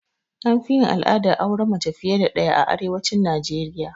Anfi yin al'adar auren mace fiye da ɗaya a arewacin Najeriya